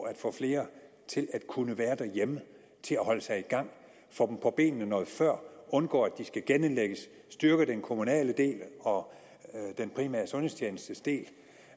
at få flere til at kunne være derhjemme og holde sig i gang få dem på benene noget før undgå at de skal genindlægges styrke den kommunale del og den primære sundhedstjenestes del